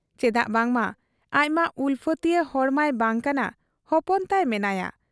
ᱪᱮᱫᱟᱜ ᱵᱟᱝᱢᱟ ᱟᱡᱢᱟ ᱩᱞᱯᱷᱟᱹᱛᱤᱭᱟᱹ ᱦᱚᱲ ᱢᱟᱭ ᱵᱟᱟᱝ ᱠᱟᱱᱟ ᱾ ᱦᱚᱯᱚᱱ ᱛᱟᱭ ᱢᱮᱱᱟᱭᱟ ᱾